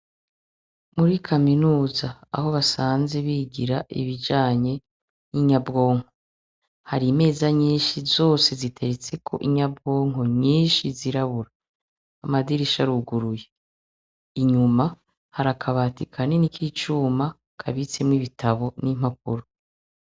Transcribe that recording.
Muri kaminuza aho basanze bigira ibijanye n'inyabwonko, hari imeza nyinshi zose ziteretseko inyabwonko nyinshi zirabura. Amadirisha aruguruye. Inyuma hari akabati kanini k'icuma kabitsemo ibitabu n'impapuro.